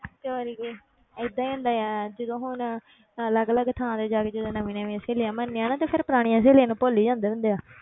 ਤੇ ਹੋਰ ਕੀ ਏਦਾਂ ਹੀ ਹੁੰਦਾ ਆ ਜਦੋਂ ਹੁਣ ਅਲੱਗ ਅਲੱਗ ਥਾਂ ਤੇ ਜਾ ਕੇ ਜਦੋਂ ਨਵੀਂ ਨਵੀਂਆਂ ਸਹੇਲੀਆਂ ਬਣਦੀਆਂ ਨਾ, ਤਾਂ ਫਿਰ ਪੁਰਾਣੀਆਂ ਸਹੇਲੀਆਂ ਨੂੰ ਭੁੱਲ ਹੀ ਜਾਂਦੇ ਹੁੰਦੇ ਆ,